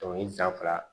Dɔnkili da fila